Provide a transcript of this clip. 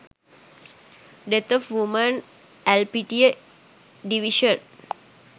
deth of women elpitiya divition